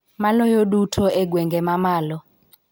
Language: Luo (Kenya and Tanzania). Maloyo duto e gwenge ma malo